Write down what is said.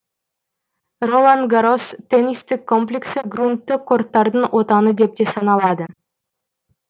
ролан гаррос теннистік комплексі груннты корттардың отаны деп те саналады